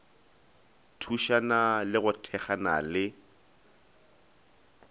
thušana le go thekgana le